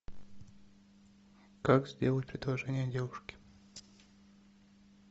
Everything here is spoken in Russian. как сделать предложение девушке